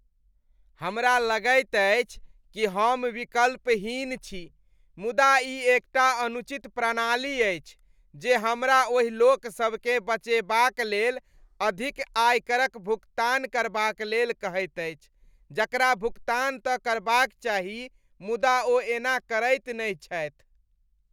हमरा लगैत अछि कि हम विकल्पहीन छी, मुदा ई एकटा अनुचित प्रणाली अछि जे हमरा ओहि लोकसभकेँ बचेबाक लेल अधिक आयकरक भुगतान करबाक लेल कहैत अछि जकरा भुगतान तऽ करबाक चाही मुदा ओ ऐना करैत नहि छथि।